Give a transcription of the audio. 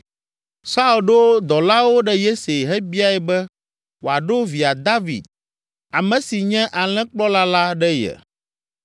Saul ɖo dɔlawo ɖe Yese hebiae be wòaɖo via David, ame si nye alẽkplɔla la ɖe ye.